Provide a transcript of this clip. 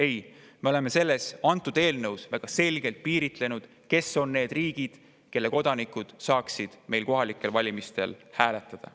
Ei, me oleme selles eelnõus väga selgelt piiritlenud, milliste riikide kodanikud saaksid meie kohalikel valimistel hääletada.